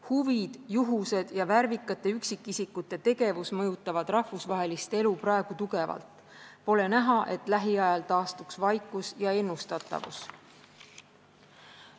Huvid, juhused ja värvikate üksikisikute tegevus mõjutavad rahvusvahelist elu praegu tugevalt, pole näha, et lähiajal taastuks vaikus ja ennustatavus.